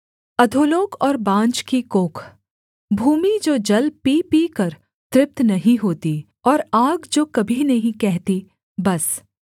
अधोलोक और बाँझ की कोख भूमि जो जल पी पीकर तृप्त नहीं होती और आग जो कभी नहीं कहती बस